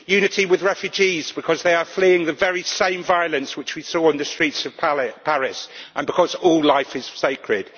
Unity with refugees, because they are fleeing the very same violence which we saw on the streets of Paris, and because all life is sacred.